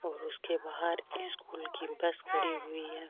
और उसके बहार स्कूल की बस खड़ी हुए है।